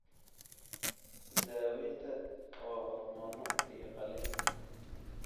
Daawaynta waa hormoono iyo qalliin.